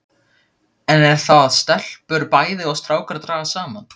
Enn er það að stelpur bæði og strákar dragast saman.